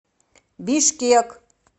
бишкек